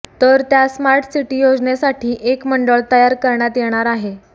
तर त्या smart city योजनेसाठी एक मंडळ तयार करण्यात येणार आहे